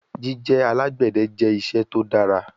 Jije alagbẹdẹ jẹ iṣẹ to dara